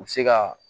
U bɛ se ka